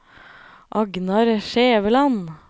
Agnar Skjæveland